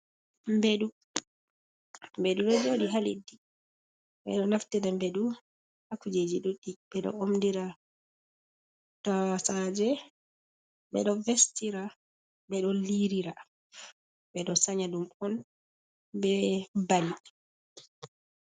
Mbeɗu ɗo joɗi ha leddi ɓeɗo naftida mbeɗu ha kujeji ɗuddi ɓe do omdira tosaje ɓe ɗo vestira ɓe ɗo liirira ɓe ɗo sanya ɗum on be bali.